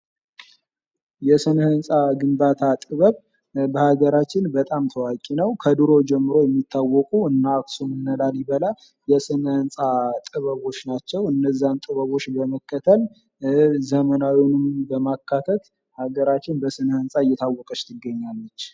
የስነ ሕንፃ ግንባታ ጥበብ በሀገራችን በጣም ታዋቂ ነዉ። ከድሮ ጀምሮ የሚታወቁ እነ አክሱም እነ ላሊበላ የስነ ሕንፃ ጥበቦች ናቸዉ። እነዚያን ጥበቦች በመከተል ዘመናዊዉንም በማካተት ሀገራችን በስነ ሕንፃ እየታወቀች ትገኛለች።